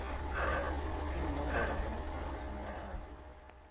iinomboro zamakhasi namkha